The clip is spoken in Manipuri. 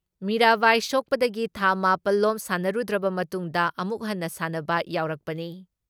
ꯃꯤꯔꯥꯕꯥꯏ ꯁꯣꯛꯄꯗꯒꯤ ꯊꯥ ꯃꯥꯄꯜ ꯂꯣꯝ ꯁꯥꯟꯅꯔꯨꯗ꯭ꯔꯕ ꯃꯇꯨꯡꯗ ꯑꯃꯨꯛ ꯍꯟꯅ ꯁꯥꯟꯅꯕ ꯌꯥꯎꯔꯛꯄꯅꯤ ꯫